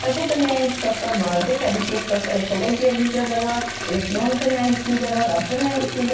Və burda müəyyən ixtisaslar var idi, təbii ki, ixtisaslar ekologiya üzrə də var, elektronika mühəndisliyi də var, rabitə mühəndisliyi də var.